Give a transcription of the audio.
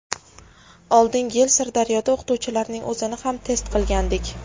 Oldingi yili Sirdaryoda o‘qituvchilarning o‘zini ham test qilgandik.